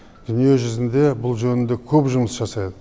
дүниежүзінде бұл жөнінде көп жұмыс жасайды